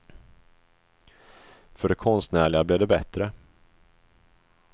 För det konstnärliga blev det bättre.